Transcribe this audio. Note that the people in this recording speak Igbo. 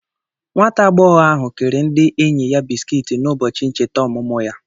Nwata agbọghọ ahụ kere ndị enyi ya biskiiti n'ụbọchị ncheta ọmụmụ ya.